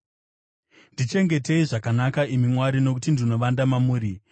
Ndichengetedzei, imi Mwari, nokuti ndinovanda mamuri.